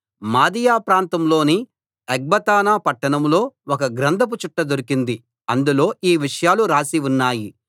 మాదీయ ప్రాంతంలోని ఎగ్బతానా పట్టణంలో ఒక గ్రంథపు చుట్ట దొరికింది అందులో ఈ విషయాలు రాసి ఉన్నాయి